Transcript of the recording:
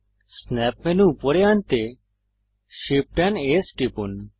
snap menu উপরে আনতে Shift এএমপি S টিপুন